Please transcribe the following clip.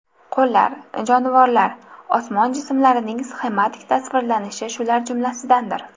Qo‘llar, jonivorlar, osmon jismlarining sxematik tasvirlanishi shular jumlasidandir.